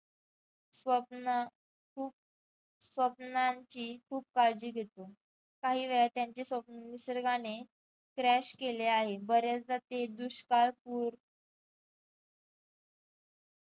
स्वप्न खूप स्वप्नांची खूप काळजी घेतली काही वेळा त्यांची स्वप्न निसर्गाने crash केले आहे बऱ्याचदा ते दुष्काळ